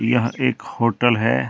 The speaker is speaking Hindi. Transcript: यह एक होटल है।